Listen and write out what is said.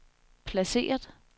placeret